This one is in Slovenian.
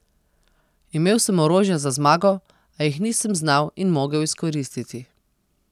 Imel sem orožja za zmago, a jih nisem znal in mogel izkoristiti.